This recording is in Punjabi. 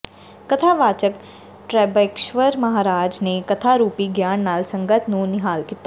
ਕਥਾ ਵਾਚਕ ਤੈ੍ਰਬਕੇਸ਼ਵਰ ਮਹਾਰਾਜ ਨੇ ਕਥਾ ਰੂਪੀ ਗਿਆਨ ਨਾਲ ਸੰਗਤ ਨੂੰ ਨਿਹਾਲ ਕੀਤਾ